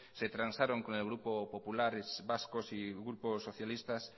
se transaron con el grupo popular vasco y grupo socialista